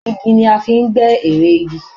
Igi ni a fi ń gbẹ́ ère igi.